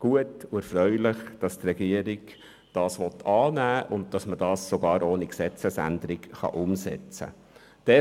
Es ist gut und erfreulich, dass die Regierung diesen Vorstoss annehmen will und dass er sogar ohne Gesetzesänderung umgesetzt werden kann.